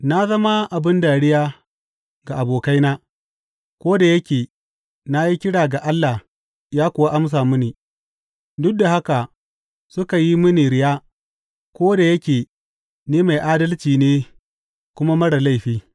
Na zama abin dariya ga abokaina, ko da yake na yi kira ga Allah ya kuwa amsa mini, duk da haka suka yi mini riya ko da yake ni mai adalci ne kuma marar laifi!